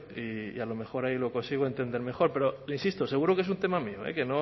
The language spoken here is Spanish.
y a lo mejor ahí lo consigo entender mejor pero le insisto seguro que es un tema mío que